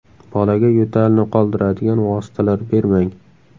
Bolaga yo‘talni qoldiradigan vositalar bermang.